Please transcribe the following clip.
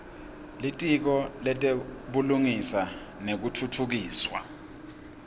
litiko letebulungisa nekutfutfukiswa